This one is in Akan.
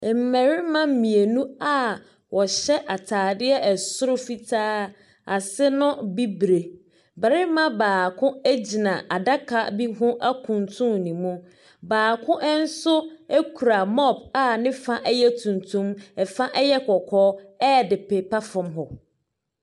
Mmarima mmienu a wɔhyɛ atadeɛ soro fitaa, ase no bibire. Barima baako gyina adaka bi ho akuntunu ne mu. Baako nso kura mob a ne fa yɛ tuntum, fa yɛ kɔkɔɔ de repepa fam hɔ.